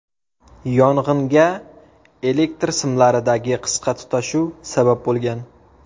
Yong‘inga elektr simlaridagi qisqa tutashuv sabab bo‘lgan.